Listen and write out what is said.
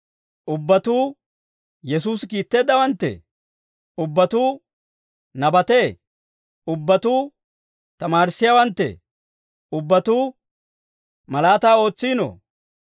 Ubbatuu Yesuusi kiitteeddawanttee? Ubbatuu nabatee? Ubbatuu tamaarissiyaawanttee? Ubbatuu malaataa ootsiinoo?